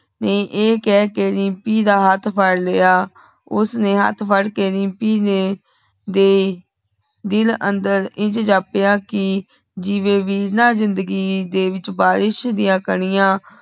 ਨੇ ਐ ਕਹੇ ਕੇ ਰੀਮਪੀ ਦਾ ਹੱਥ ਫੜ੍ਹ ਲਿਆ। ਉਸਨੇ ਹੱਥ ਫੜ੍ਹ ਕੇ ਰੀਮਪੀ ਨੇ ਦੇ ****** ਦਿਲ ਅੰਧਰ ਇੰਝ ਜਾਪਿਆਂ ਕੀ ਜਿਵੇਂ ਬਿਨਾ ਜ਼ਿੰਦਗ਼ੀ ਦੇ ਵਿਚ ਬਾਰਿਸ਼ ਦੀਆ ਕਣੀਆਂ